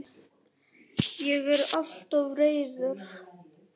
Ég er alltof reiður.